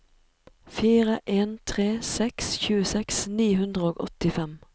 fire en tre seks tjueseks ni hundre og åttifem